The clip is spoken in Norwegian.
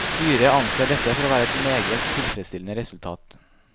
Styret anser dette for å være et meget tilfredsstillende resultat.